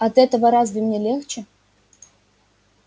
от этого разве мне легче